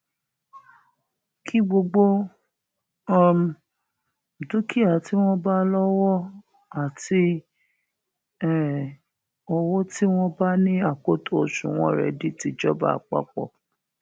kí gbogbo um dúkìá tí wọn bá lówó àti um owó tí wọn bá ní akoto òṣùnwọn rẹ di tìjọba àpapọ